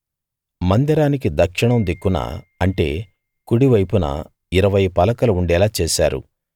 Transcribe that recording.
మందిరానికి దక్షిణం దిక్కున అంటే కుడివైపున ఇరవై పలకలు ఉండేలా చేశారు